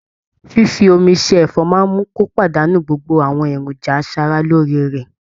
fífi omi se ẹ̀fọ́ máa mú kí ó pàdánù gbogbo àwọn èròjà aṣara lóore rẹ̀.